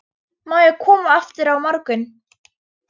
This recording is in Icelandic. Má ég koma aftur á morgun?